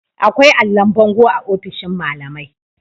akwai allon bango a ofishin malamai